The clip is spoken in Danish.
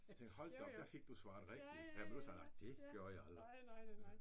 Jeg tænkte hold da op der fik du svaret rigtigt ja modsat nej det gjorde jeg aldrig